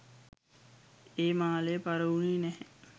ඒ මාලය පරවුණේ නැහැ.